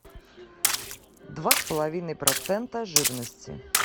два с половиной процента жирности